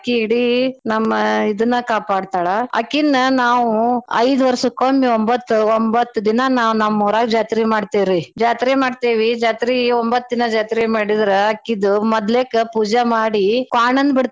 ಇಡೀ ನಮ್ ಇದ್ನ್ ಕಾಪಾಡ್ತಾಳ ಆಕಿನ್ನ ನಾವೂ ಐದ್ ವರ್ಷ್ಕೊಮ್ಮೆ ಒಂಬತ್ತ್ ಒಂಬತ್ತ್ ದಿನಾ ನಾವ್ ನಮ್ಮೂರಾಗ ಜಾತ್ರೀ ಮಾಡ್ತೇವರೀ. ಜಾತ್ರೀ ಮಾಡ್ತೇವಿ ಜಾತ್ರೀ ಒಂಬತ್ ದಿನಾ ಜಾತ್ರೀ ಮಾಡಿದ್ರ ಆಕಿದ್ ಮದ್ಲೇಕ್ ಪೂಜಾ ಮಾಡಿ ಕ್ವಾಣನ್ ಬಿಡ್ತಾರಾ.